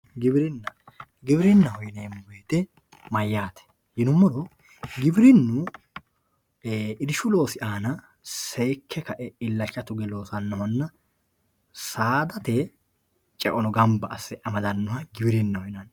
Giwirinna giwirinaho yinemowoyite mayaate giwirinu irshu loosi aana seeke kae ilacha tuge loosanohona saadate ceono ganba ase amadanoha giwirinaho yinani.